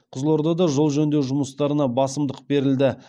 қызылордада жол жөндеу жұмыстарына басымдық берілді